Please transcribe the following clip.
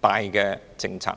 大政策。